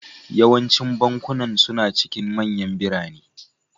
Yawancin bankunan suna cikin manyan birane